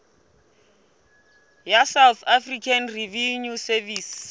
ya south african revenue service